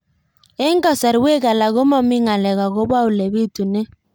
Eng' kasarwek alak ko mami ng'alek akopo ole pitunee